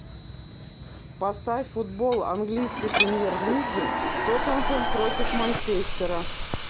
поставь футбол английской премьер лиги тоттенхэм против манчестера